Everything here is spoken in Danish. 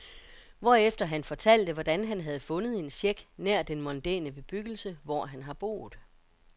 Hvorefter han fortalte, hvordan han havde fundet en check nær den mondæne bebyggelse, hvor han har boet.